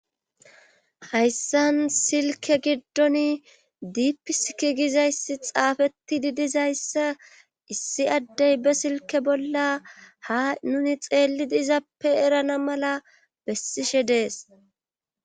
hayssan silke giddon diipiskigizayssi xaafeti di dizayssa issi addey be silke bolla ha nuni xeeli diizappe erana mala bessishe dees